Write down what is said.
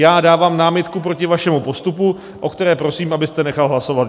Já dávám námitku proti vašemu postupu, o které prosím, abyste nechal hlasovat.